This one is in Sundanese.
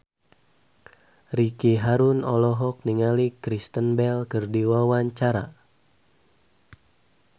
Ricky Harun olohok ningali Kristen Bell keur diwawancara